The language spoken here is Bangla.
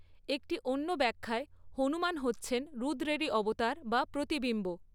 একটী অন্য ব্যাখ্যায় হনুমান হচ্ছেন রুদ্রেরই অবতার বা প্রতিবিম্ব।